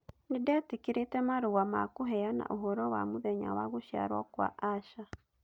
Nĩ ndetĩkĩrĩte marũa ma kũheana ũhoro wa mũthenya wa gũciarũo kwa Asha.